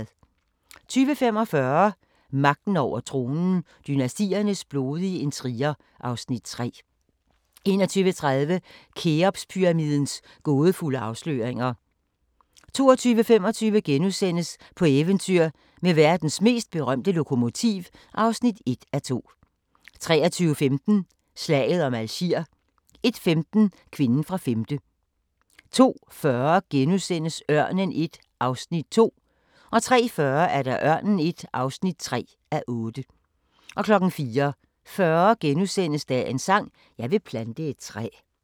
20:45: Magten over tronen – Dynastiernes blodige intriger (Afs. 3) 21:30: Kheopspyramidens gådefulde afsløringer 22:25: På eventyr med verdens mest berømte lokomotiv (1:2)* 23:15: Slaget om Algier 01:15: Kvinden fra femte 02:40: Ørnen I (2:8)* 03:40: Ørnen I (3:8) 04:40: Dagens sang: Jeg vil plante et træ *